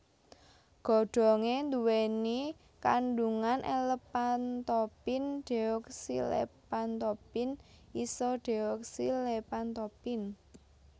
Godhonge nduweni kandhungan elephantopin deoxyelephantopin isodeoxyelephantopin